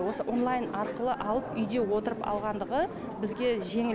онлайн арқылы алып үйде отырып алғандығы бізге жеңіл